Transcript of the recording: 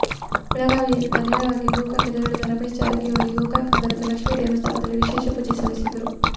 ಬೆಳಗಾವಿಯಿಂದ ನೇರವಾಗಿ ಗೋಕಾಕ್ ತೆರಳಿದ ರಮೇಶ ಜಾರಕಿಹೊಳಿಗೆ ಗೋಕಾಕ್ ನಗರದ ಲಕ್ಷ್ಮೀ ದೇವಸ್ಥಾನದಲ್ಲಿ ವಿಶೇಷ ಪೂಜೆ ಸಲ್ಲಿಸಿದ್ರು